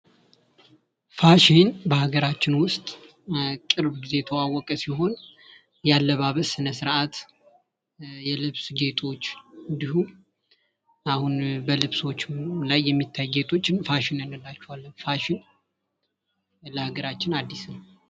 ፋሽን በሀገራችን ውስጥ ቅርብ ጊዜ የተዋወቀ ሲሆን ያለባበስ ስነ ስርዓት የልብስ ጌጦች እንዲሁም አሁን በልብሶች ላይ የሚታዩ ጌጦች ፋሽን እንላቸዋለን። ፋሽን ለሃገራችን አዲስ ነው።